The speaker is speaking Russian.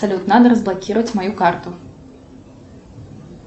салют надо разблокировать мою карту